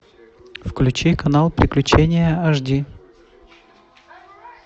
включи канал приключения ашди